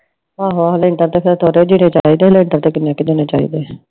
ਆਹੋ ਆਹੋ ਮੈਨੂੰ ਚਾਹੀਦੇ ਨੇ ਏਦਾਂ ਏਦਾਂ ਕਿੰਨੇ ਕ ਦਿਨ ਚਾਹੀਦੇ ਆ